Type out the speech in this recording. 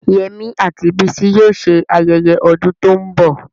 Yemi àti Bisi yóò ṣe ayẹyẹ ọdún tó ń bọ̀.